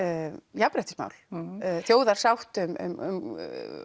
jafnréttismál þjóðarsátt um